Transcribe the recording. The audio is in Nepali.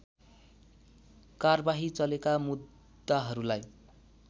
कारबाही चलेका मुद्दाहरूलाई